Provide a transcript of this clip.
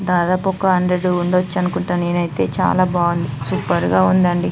దాదాపు ఒక హండ్రెడ్ ఉండొచ్చు అనుకుంట నేనైతే బాగుంది అండి సూపర్ గ ఉందండి.